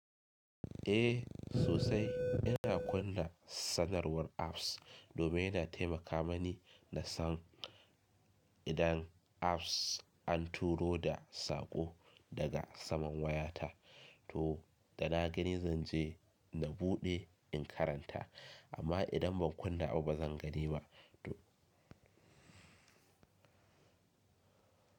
Eh sosai ina kunna sanarwar apps domin yana taimaka mani na san idan apps an turo da sako daga saman wayata. To da na gani zanje na buɗe in karanta amma idan ban kunna abu bazan gani ba. To.